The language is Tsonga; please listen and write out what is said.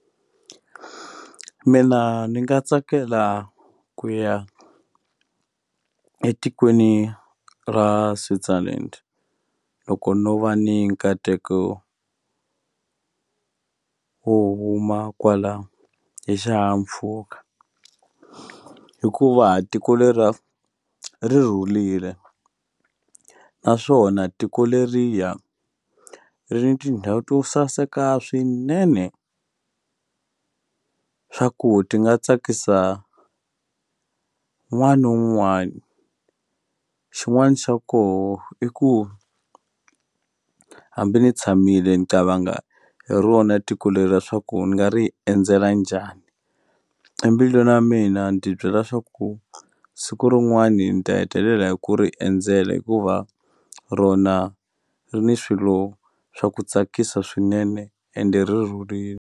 Mina ndzi na tsakela ku ya etikweni ra Switzerlan loko no va ni nkateko wo huma kwala hi xihahampfhuka hikuva tiko leriya ri rhulile naswona tiko leriya ri ni tindhawu to saseka swinene swa ku ti nga tsakisa wun'wani ni wun'wani xin'wani xa koho i ku hambi ni tshamile ni qavangha hi rona tiko leriya swaku ni nga ri endzela njhani embilwini ya mina ni ti byela swaku siku rin'wani ni ta hetelela hi ku ri endzela hikuva rona ri ni swilo swa ku tsakisa swinene ende ri rhurile.